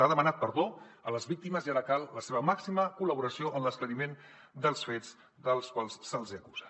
ha demanat perdó a les víctimes i ara cal la seva màxima collaboració en l’esclariment dels fets dels quals se’ls acusa